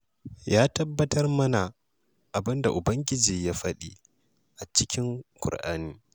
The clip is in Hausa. Ya tabbatar mana abin da Ubangiji ya faɗa a cikin Kur'ani.